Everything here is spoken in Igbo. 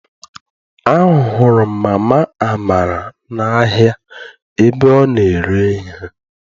A hụrụ m mama Amara n'ahia ebe ọ na-ere ihe.